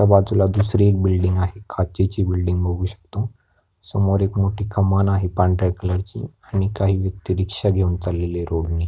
एका बाजूला दुसरी एक बिल्डिंग आहे खाचेची बिल्डिंग बघू शकतो समोर एक मोठी कमान आहे पांढऱ्या कलर ची आणि काही व्यक्ति रिक्षा घेऊन चाललेले आहे रोड नि.